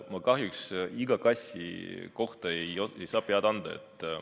Ma kahjuks iga kassi kohta ei saa pead anda.